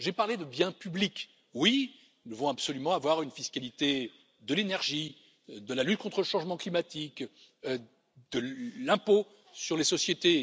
J'ai parlé de biens publics oui, nous devons absolument avoir une fiscalité de l'énergie, de la lutte contre le changement climatique de l'impôt sur les sociétés.